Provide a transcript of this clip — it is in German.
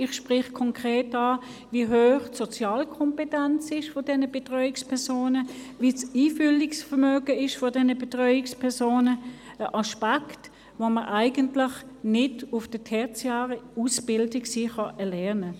Konkret spreche ich an, wie hoch die Sozialkompetenz und das Einfühlungsvermögen dieser Betreuungspersonen sind – ein Aspekt, den man in der tertiären Ausbildung sicher nicht erlernt.